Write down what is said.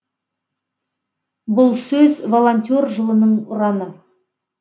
бұл сөз волонтер жылының ұраны